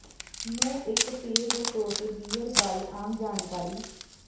ਨੂੰ ਇੱਕ ਪੇਅ ਦੇ ਤੌਰ ਤੇ ਬੀਅਰ ਬਾਰੇ ਆਮ ਜਾਣਕਾਰੀ